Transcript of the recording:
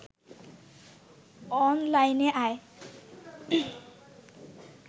অনলাইনে আয়